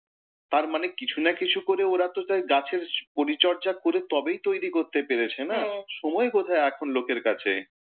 তার মানে কিছু না কিছু করে ওরা তো তাই গাছের পরিচর্যা করে তবেই তৈরী করতে পেরেছে না, সময় কোথায় এখন লোকের কাছে।